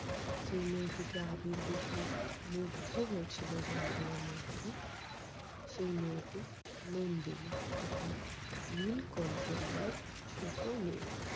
যেই মেয়েটিকে আবির দেখে মুগ্ধ হয়েছিল জঙ্গল এর মধ্যে সেই মেয়েটি নন্দিনী অর্থাৎ নীলকণ্ঠ রায় এর ছোট মেয়ে।